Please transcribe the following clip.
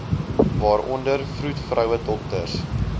waaronder vroedvroue dokters